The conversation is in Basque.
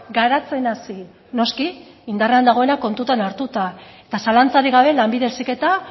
garatzen hasi noski indarrean dagoena kontutan hartuta eta zalantzarik gabe lanbide heziketa